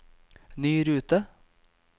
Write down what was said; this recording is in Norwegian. ny rute